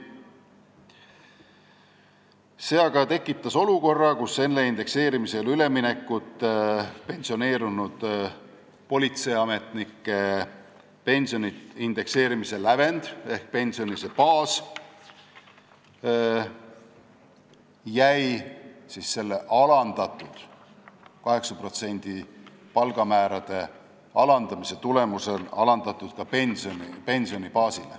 See aga tekitas olukorra, kus enne indekseerimisele üleminekut pensioneerunud politseiametnike pensioni indekseerimise lävendiks ehk pensioni baasiks jäi palgamäärade 8%-lise alandamise tulemusel alandatud baas.